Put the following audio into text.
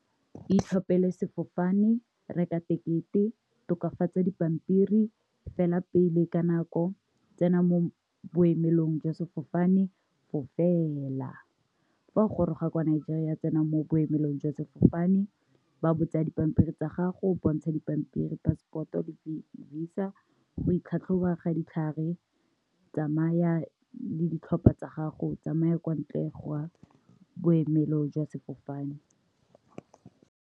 Itlhophele sefofane, reka tekete, tokafatsa dipampiri, fela pele ka nako, tsena mo boemelong jwa sefofane fofela. Fa o goroga kwa Nigeria, tsena mo boemelong jwa sefofane, ba botsa dipampiri tsa gago bontsha dipampiri passport o di isa go itlhatlhoba ga ditlhare, tsamaya le ditlhopha tsa gago, tsamaya kwa ntle go boemelong jwa sefofane.